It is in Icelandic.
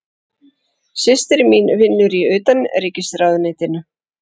Systir mín vinnur í Utanríkisráðuneytinu.